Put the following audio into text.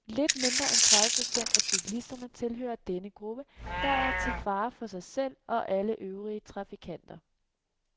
Lidt mindre end tredive procent af cyklisterne tilhører denne gruppe, der både er til fare for sig selv og alle øvrige trafikanter.